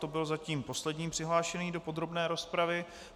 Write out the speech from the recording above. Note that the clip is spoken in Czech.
To byl zatím poslední přihlášený do podrobné rozpravy.